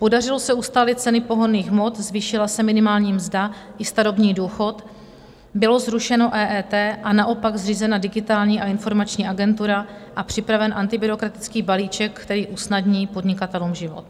Podařilo se ustálit ceny pohonných hmot, zvýšila se minimální mzda i starobní důchod, bylo zrušeno EET a naopak zřízena Digitální a informační agentura a připraven antibyrokratický balíček, který usnadní podnikatelům život.